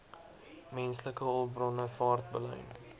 menslike hulpbronne vaartbelyn